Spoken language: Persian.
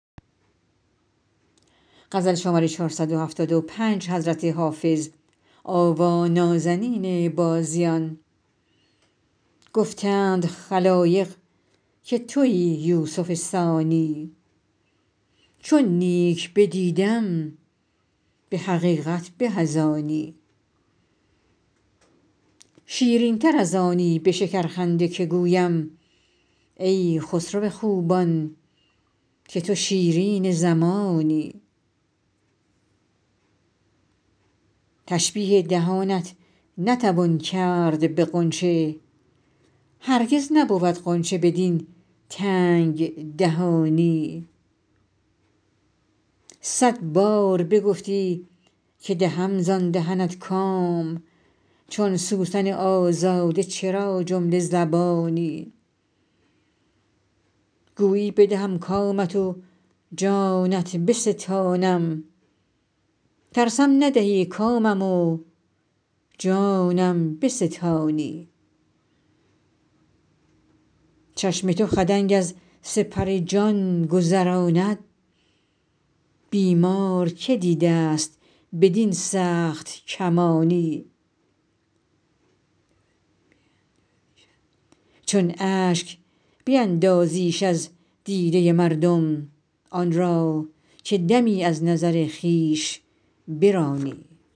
گفتند خلایق که تویی یوسف ثانی چون نیک بدیدم به حقیقت به از آنی شیرین تر از آنی به شکرخنده که گویم ای خسرو خوبان که تو شیرین زمانی تشبیه دهانت نتوان کرد به غنچه هرگز نبود غنچه بدین تنگ دهانی صد بار بگفتی که دهم زان دهنت کام چون سوسن آزاده چرا جمله زبانی گویی بدهم کامت و جانت بستانم ترسم ندهی کامم و جانم بستانی چشم تو خدنگ از سپر جان گذراند بیمار که دیده ست بدین سخت کمانی چون اشک بیندازیش از دیده مردم آن را که دمی از نظر خویش برانی